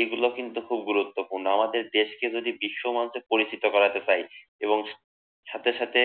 এগুলা কিন্তু খুব গুরুত্বপূর্ণ আমাদের দেশকে যদি বিশ্ব মঞ্চে পরিচিতি করতে চাই এবং সাথে সাথে